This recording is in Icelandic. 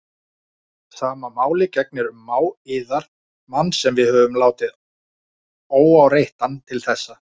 Sama máli gegnir um mág yðar, mann sem við höfum látið óáreittan til þessa.